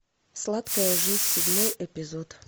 сладкая жизнь седьмой эпизод